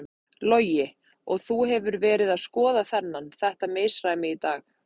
Logi: Og þú hefur verið að skoða þennan, þetta misræmi í dag?